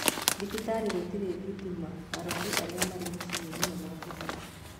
Thibitarĩ gũtarĩ thitima arwaru arĩa marĩ macininĩ nĩ mekuhera